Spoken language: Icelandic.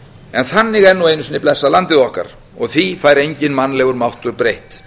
en þannig er nú einu sinni blessað landið okkar og því fær enginn mannlegur máttur breytt